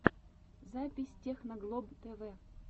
запись техноглоб тэвэ